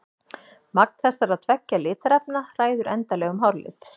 Magn þessara tveggja litarefna ræður endanlegum hárlit.